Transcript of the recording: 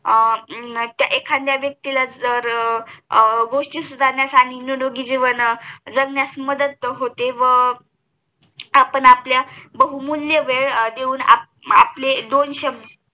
एखाद्या व्यक्तीला जर गोष्टी सुधारण्यास आणि निरोगी जीवन जगण्यास मदत होते व आपण आपल्या बहुमूल्य वेल देऊन आपले दोन शबद